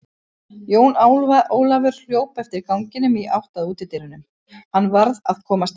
Jón Ólafur hljóp eftir ganginum í átt að útidyrunum, hann varð að komast heim.